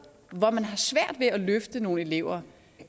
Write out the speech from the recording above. hvor man har svært ved at løfte nogle elever